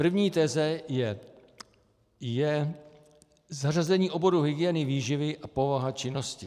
První teze je zařazení oboru hygieny výživy a povaha činnosti.